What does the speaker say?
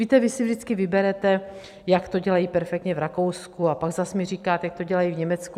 Víte, vy si vždycky vyberete, jak to dělají perfektně v Rakousku, a pak mi zase říkáte, jak to dělají v Německu.